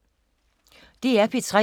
DR P3